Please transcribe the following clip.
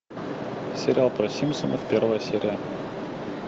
сериал про симпсонов первая серия